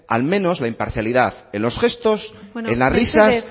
al menos la imparcialidad en los gestos en las risas